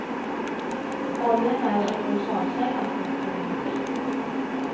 Oljan är universalkällan för att få energi.